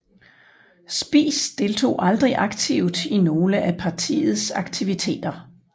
Spies deltog aldrig aktivt i nogle af partiets aktiviteter